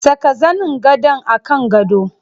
Saka zanin gadon a kan gado.